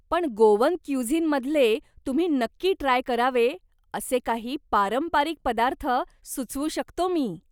पण गोवन क्युझिनमधले तुम्ही नक्की ट्राय करावे असे काही पारंपरिक पदार्थ सुचवू शकतो मी.